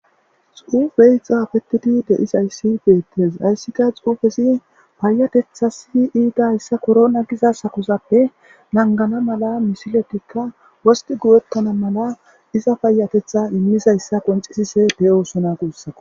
Xuppey xafetidi de'izayisi betes hesika xufezi payatethas haysa korona giza hargezappe bena wostidi teqane payatetha imizaysa qoncisise beses gusiko